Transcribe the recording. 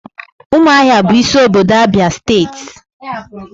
umuahia bu isi obodo Abia steeti.